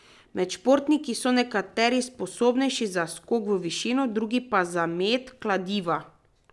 Med športniki so nekateri sposobnejši za skok v višino, drugi pa za met kladiva.